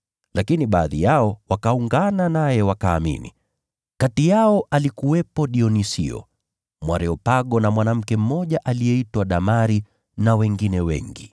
Lakini baadhi yao wakaungana naye wakaamini. Kati yao alikuwepo Dionisio, Mwareopago na mwanamke mmoja aliyeitwa Damari na wengine wengi.